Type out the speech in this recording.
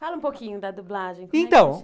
Fala um pouquinho da dublagem, então